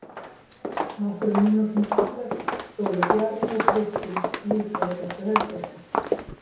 Nokkrum mínútum síðar stóðu Bjarni og Kristín líka í þessu herbergi.